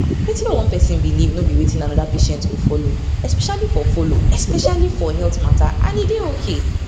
wetin one person believe no be wetin another patient go follow especially for follow especially for health matter and e dey okay